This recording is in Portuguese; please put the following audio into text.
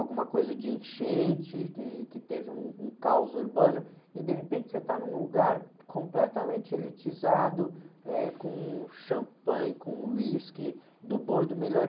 alguma coisa de enchente, que, que teve um caos urbano, e de repente você está num lugar completamente elitizado, eh, com champanhe, com uísque, do bom e do melhor.